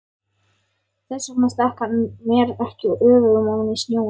Þess vegna stakk hann mér ekki öfugum ofan í snjóinn.